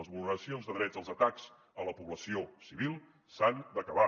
les vulneracions de drets els atacs a la població civil s’han d’acabar